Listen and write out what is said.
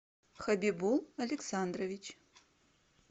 хабибул александрович